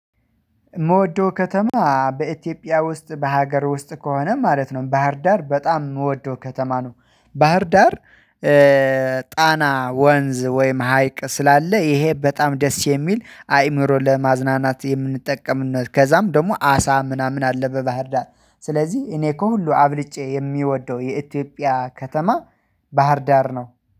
የምወደው ከተማ በኢትዮጵያ ውስጥ በሀገር ውስጥ ከሆነ ማለት ነው ባህርዳር በጣም የምወደው ከተማ ነው ባህር ዳር። ጣና ወንዝ ወይም ሀይቅ ስላለ ይሄ በጣም ደስ የሚል አእምሮ ለማዝናናት የምንጠቀምነው ከዛም ደግሞ አሳ ምናምን አለ በባህርዳት ስለዚህ እኔ ከሁሉ አብልጬ የሚወደው የኢትዮጵያ ከተማ። ባህርዳር ነው።